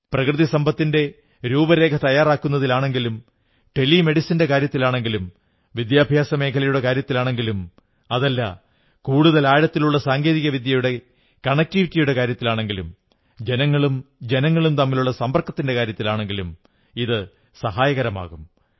പ്രകൃതിസമ്പത്തിന്റെ രൂപരേഖ തയ്യാറാക്കുന്നതിലാണെങ്കിലും ടെലിമെഡിസിന്റെ കാര്യത്തിലാണെങ്കിലും വിദ്യാഭ്യാസമേഖലയുടെ കാര്യത്തിലാണെങ്കിലും അതല്ല കൂടുതൽ ആഴത്തിലുള്ള സാങ്കേതികവിദ്യയുടെ കണക്ടിവിറ്റിയുടെ കാര്യത്തിലാണെങ്കിലും ജനങ്ങളും ജനങ്ങളും തമ്മിലുള്ള സമ്പർക്കങ്ങളുടെ കാര്യത്തിലാണെങ്കിലും ഇത് സഹായകമാകും